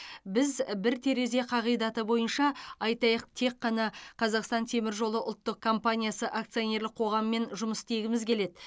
біз бір терезе қағидаты бойынша айтайық тек қана қазақстан темір жолы ұлттық компаниясы акционерлік қоғамымен жұмыс істегіміз келеді